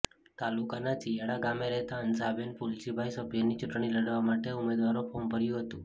તાલુકાના ચિયાડા ગામે રહેતા હંસાબેન ફુલજીભાઈ સભ્યની ચૂંટણી લડવા માટે ઉમેદવારો ફોર્મ ભર્યું હતું